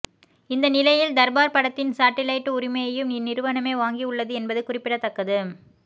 இந்த நிலையில் தர்பார் படத்தின் சாட்டிலைட் உரிமையையும் இந்நிறுவனமே வாங்கி உள்ளது என்பது குறிப்பிடத்தக்கது